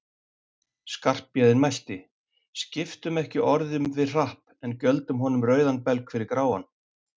Skarphéðinn mælti: Skiptum ekki orðum við Hrapp, en gjöldum honum rauðan belg fyrir gráan